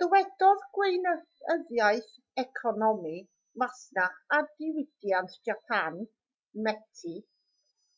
dywedodd gweinyddiaeth economi masnach a diwydiant japan meti